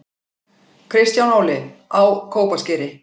Kristján Óli: Á Kópaskeri